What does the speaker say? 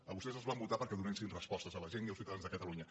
a vostès els van votar perquè donessin respostes a la gent i als ciutadans de catalunya